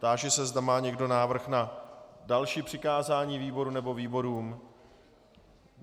Táži se, zda má někdo návrh na další přikázání výboru nebo výborům?